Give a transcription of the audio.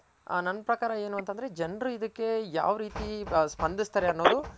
ನನ್ ಪ್ರ್ರಕಾರ ಏನು ಅಂತ ಅಂದ್ರೆ ಜನರು ಇದಕ್ಕೆ ಯಾವ್ ರೀತಿ ಸ್ಪಂದ್ಸ್ತಾರೆ ಅನ್ನೋದು